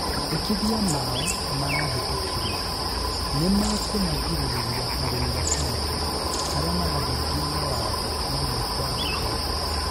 mendekithia maũ marahĩtũkirio, nĩmakumagirĩrĩria arĩmi a bangi aria marahingia mawatho mamwe kwaga kũherithio